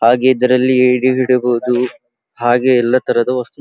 ಹಾಗೆ ಇದರಲ್ಲಿ ಏಡಿ ಇಡಬಹುದು ಹಾಗೆ ಎಲ್ಲಾ ತರದ ವಸ್ತು--